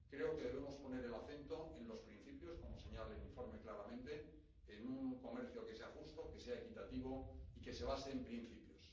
Creo que debemos poner el acento en los principios —como señala el informe claramente—, en un comercio que sea justo, que sea equitativo y que se base en principios.